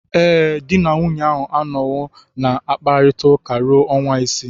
Ee, di na nwunye a anọwo na-akpakọrịta ruo ọnwa isii.